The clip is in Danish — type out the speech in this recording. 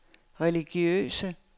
religiøse